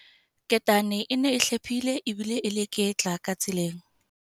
Ketane e ne e hlephile ebile e leketla ka tseleng.